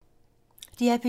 DR P2